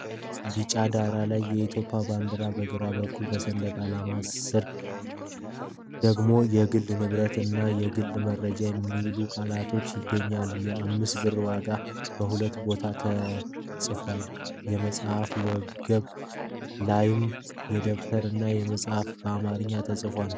ቢጫ ዳራ ላይ የኢትዮጵያን ባንዲራ በግራ በኩል፣ በሰንደቅ ዓላማው ስር ደግሞ "የግል ንብረት" እና "የግል መረጃ" የሚሉ ቃላት ይገኛሉ። የ5 ብር ዋጋ በሁለት ቦታ ተጽፎበታል፤ የመፅሐፍ ወገብ ላይም የደብተር እና የመፅሀፍ ቃል በአማርኛ ተጽፏል።